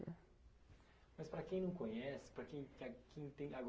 Mas para quem não conhece, para quem quer, quem tem,